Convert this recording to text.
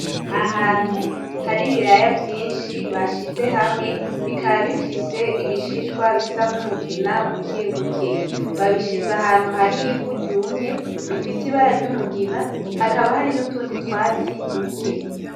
Ahantu hari ibiraya vyinshi bashize hamwe, bikaba bifise ibishishwa bisa nk'umugina bukebuke. Babishize ahantu hari ivu ryumye, rifise ibara ry'umugina, hakaba hari n'utundi twatsi duke.